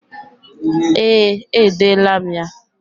Ee, edela m ya.